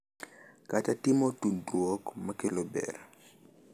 Kata timo tudruok ma kelo ber.